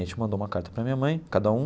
A gente mandou uma carta para minha mãe, cada um.